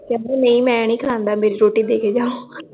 ਕਹਿੰਦਾ ਮੈ ਨੀ ਖਾਂਦਾ ਮੇਰੀ ਰੋਟੀ ਦੇ ਕੇ ਜਾਓl ਹਮਮ ਫੇਰ